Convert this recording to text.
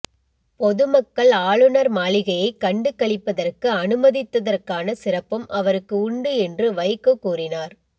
பொதுமக்கள் ஆளுநர் மாளிகையை கண்டு களிப்பதற்கு அனுமதித்ததற்கான சிறப்பும் அவருக்கு உண்டு என்று வைகோ கூறினார்